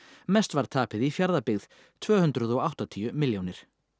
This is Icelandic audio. mest var tapið í Fjarðabyggð tvö hundruð og áttatíu milljónir